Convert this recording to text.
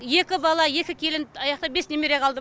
екі бала екі келін аяақта бес немере қалды